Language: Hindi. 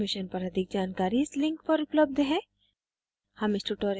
इस mission पर अधिक जानकारी इस link पर उपलब्ध है